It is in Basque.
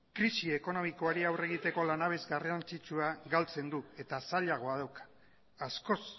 krisi ekonomikoari aurre egiteko lanabes garrantzitsua galtzen du eta zailago dauka askoz